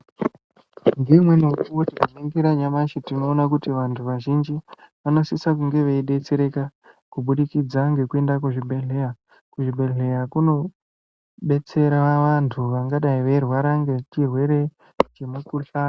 Ngeimweni mukuwo tkainingira nyamashi, tinoona kuti vanthu vazhinji vanosisa kunge veidetsereka kubudikidza ngekuende kuzvibhedhleya. Kuzvibhedhleya kunodetsera vanthu vangadai veirwara ngechirwere chemukhuhlani.